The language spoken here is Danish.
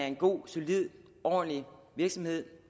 en god solid og ordentlig virksomhed